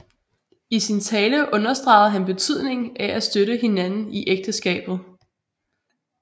I sin tale understregede han betydningen af at støtte hinanden i ægteskabet